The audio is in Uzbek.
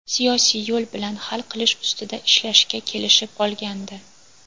siyosiy yo‘l bilan hal qilish ustida ishlashga kelishib olgandi.